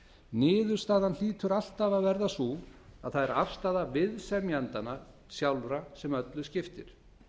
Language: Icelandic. niðurstaðan hlýtur alltaf að verða sú að það er afstaða viðsemjendanna sjálfra sem öllu skiptir